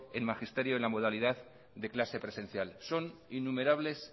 en magisterio en la modalidad de clase presencial son innumerables